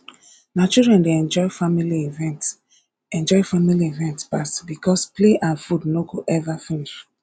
na children dey enjoy family event enjoy family event pass because play and food no go ever finish